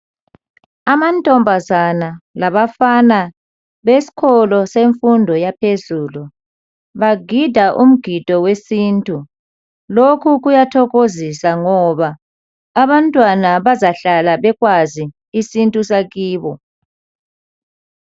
Amantombazana labafana besikolo semfundo yaphezulu bagida umgido wesintu. Lokhu kuyathokozisa ngoba abantwana bazahlala bekwazi isintu sakibo.